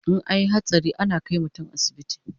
In anyi hatsari ana kai mutun asibiti